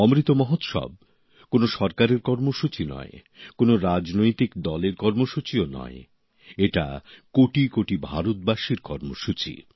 অমৃত মহোৎসব কোনও সরকারের কর্মসূচী নয় কোনও রাজনৈতিক দলের কর্মসূচী নয় এটা কোটিকোটি ভারতবাসীর কর্মসূচী